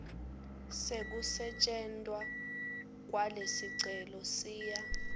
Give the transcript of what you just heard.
sekusetjentwa kwalesicelo siya